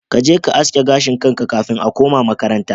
Kaje ka aske gashin kanka kafin a kuma makaranta.